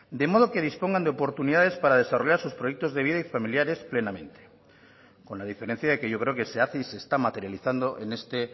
de modo que dispongan de oportunidades para desarrollar sus proyectos de vida y familiares plenamente con la diferencia de que yo creo que se hace y se está materializando en este